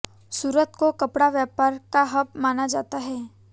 सुरत को कपड़ा व्यापार का हब माना जाता है